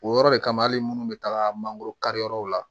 O yɔrɔ de kama hali munnu bɛ taga mangoro kari yɔrɔw la